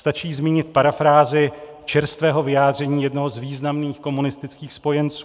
Stačí zmínit parafrázi čerstvého vyjádření jednoho z významných komunistických spojenců: